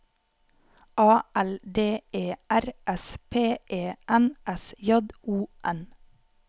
A L D E R S P E N S J O N